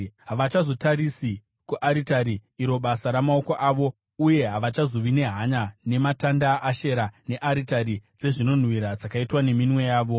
Havachazotarisi kuaritari, iro basa ramaoko avo, uye havachazovi nehanya nematanda aAshera nearitari dzezvinonhuhwira dzakaitwa neminwe yavo.